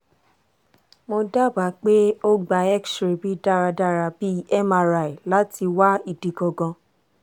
mo daba pe o gba xray bi daradara bi mri lati wa idi gangan